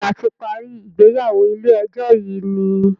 béèni a ti parí ìgbéyàwó ilé ejó yi ní.